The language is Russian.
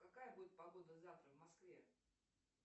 какая будет погода завтра в москве